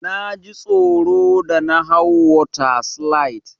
Naji tsoro da na hau water slide.